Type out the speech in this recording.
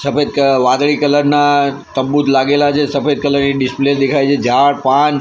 સફેદ કલર વાદળી કલર ના તરબૂજ લાગેલા છે સફેદ કલર ની ડિસ્પ્લે દેખાય છે ઝાડ પાન --